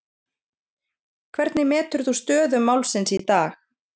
Hvernig metur þú stöðu málsins í dag?